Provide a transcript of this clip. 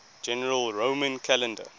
general roman calendar